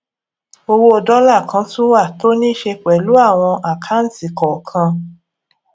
owó dọlà kan tún wà tó níí ṣe pẹlú àwọn àkáǹtì kọọkan